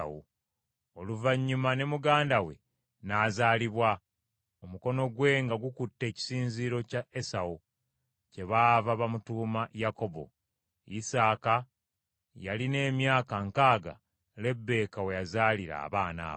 Oluvannyuma ne muganda we n’azaalibwa, omukono gwe nga gukutte ekisinziiro kya Esawu; kyebaava bamuyita Yakobo. Isaaka yalina emyaka nkaaga Lebbeeka we yazaalira abaana abo.